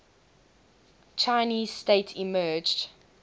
chinese state emerged